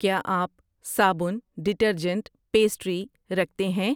کیا آپ صابن, ڈٹرجنٹ, پیسٹری رکھتے ہیں؟